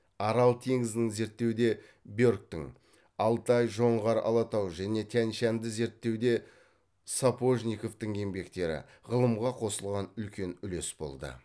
арал теңізін зерттеуде бергтің алтай жоңғар алатау және тянь шаньды зерттеуде сапожниковтың еңбектері ғылымға қосылған үлкен үлес болды